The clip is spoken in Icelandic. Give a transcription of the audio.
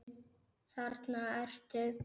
Þarna ertu!